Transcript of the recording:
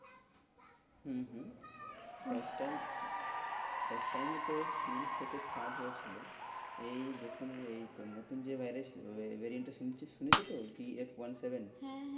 হম হম last time last time এ তো চীন থেকে start হয়েছিল। এই যখন এই ন~ নতুন যে virus variant শুনেছিস সুনেছোতো? BF one seven হ্যাঁ হ্যাঁ